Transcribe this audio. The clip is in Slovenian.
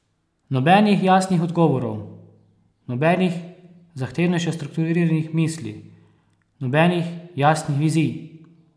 Nobenih jasnih odgovorov, nobenih zahtevnejše strukturiranih misli, nobenih jasnih vizij!